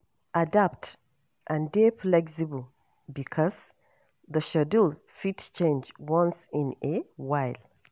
Adapt and dey flexible because the schedule fit change once in a while